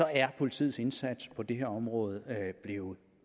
er politiets indsats på det her område blevet